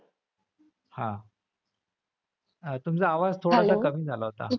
हां. तुमचा आवाज थोडासा कमी झाला होता.